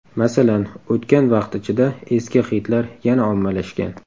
Masalan, o‘tgan vaqt ichida eski xitlar yana ommalashgan.